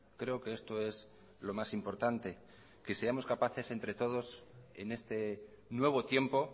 creo que esto es lo más importante que seamos capaces entre todos en este nuevo tiempo